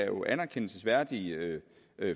jo anerkendelsesværdige